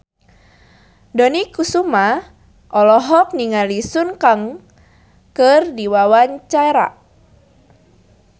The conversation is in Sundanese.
Dony Kesuma olohok ningali Sun Kang keur diwawancara